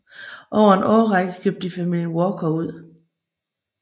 Over en årrække købte de familien Walker ud